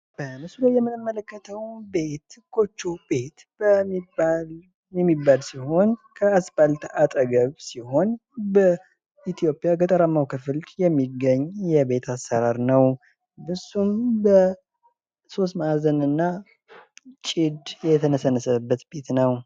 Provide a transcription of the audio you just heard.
በምስሉ ላይ የምንመለከተው ጎጆ ቤት የሚባል ሲሆን ከአስፓልት ዳር አጠገብ የሚገኝ ሲሆን በኢትዮጵያ ገጠመው ማበረሰብ የሚገኝ የቤት አሰራር ነው። እሱም ሶስት ማእዘንና ጭድየተነሳበት ነው።